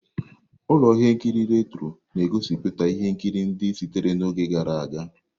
Ụlọ ihe nkiri Retro na-egosiputa ihe nkiri ndị sitere n'oge gara aga.